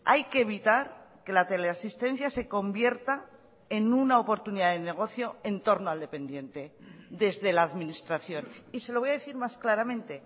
hay que evitar que la teleasistencia se convierta en una oportunidad de negocio en torno al dependiente desde la administración y se lo voy a decir más claramente